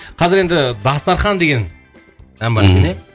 қазір енді дастархан деген мхм ән бар екен ә